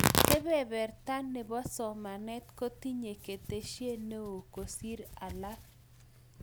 Kebeberta ne bo somanee kotinye keteshie ne oo kosir alak